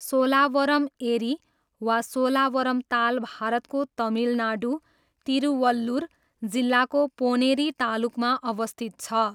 सोलावरम एरी वा सोलावरम ताल भारतको तमिलनाडु, तिरुवल्लुर जिल्लाको पोनेरी तालुकमा अवस्थित छ।